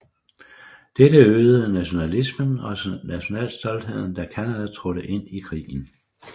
Dette øgede nationalismen og nationalstoltheden da Canada trådte ind i krigen